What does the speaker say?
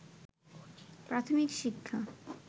প্রাথমিক শিক্ষা